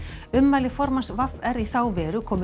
ummæli formanns v r í þá veru komu